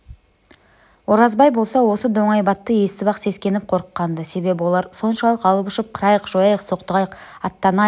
оразбай болса осы доңайбатты естіп-ақ сескеніп қорыққан-ды себебі олар соншалық алып-ұшып қырайық жояйық соқтығайық аттанайық дей